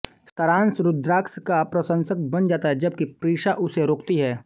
सारांश रुद्राक्ष का प्रशंसक बन जाता है जबकि प्रीशा उसे रोकती है